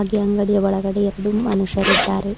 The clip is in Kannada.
ಗೆ ಅಂಗಡಿಯ ಒಳಗಡೆ ಎರಡು ಮನುಷ್ಯರಿದ್ದಾರೆ.